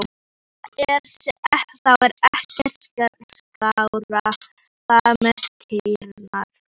Og það er þá ekkert skárra þar með kýrnar?